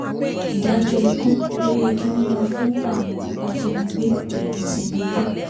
ìdájọ́ ikú ló yẹ kí wọ́n máa fún àwọn ajìnígbé rẹmi tìǹbù